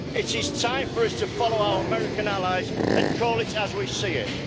It is time for us to follow our American allies and call it as we see it.